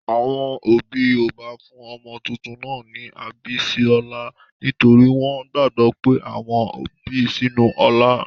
Àwọn òbí Yorùbá fún ọmọ tuntun náà ní 'Abísọ́lá' nítorí wọ́n gbàgbọ́ pé àwọn bi sínú ọlá.